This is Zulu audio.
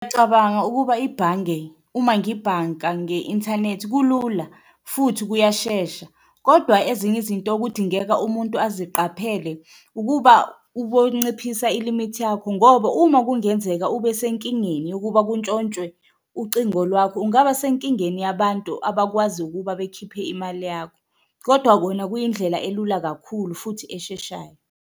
Ngicabanga ukuba ibhange uma ngibhanka nge-inthanethi kulula futhi kuyashesha kodwa ezinye izinto okudingeka umuntu abaziqaphele, ukuba ubonciphisa ilimithi yakho ngoba uma kungenzeka ube senkingeni yokuba kuntshontshwe ucingo lwakho, ungaba senkingeni yabantu abakwazi ukuba bekhiphe imali yakho. Kodwa kona kuyindlela elula kakhulu futhi esheshayo.